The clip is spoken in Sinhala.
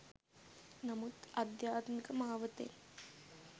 නමුත් අධ්‍යාත්මික මාවතෙන්